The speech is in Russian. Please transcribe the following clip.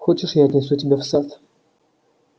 хочешь я отнесу тебя в сад